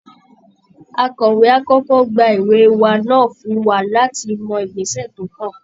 Akọ̀wé á kọ́kọ́ gbé ìwé wá ná fún wa láti mọ ìgbésẹ̀ tó kàn